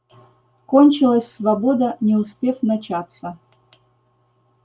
кончилась свобода не успев начаться